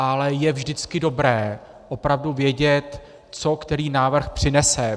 Ale je vždycky dobré opravdu vědět, co který návrh přinese.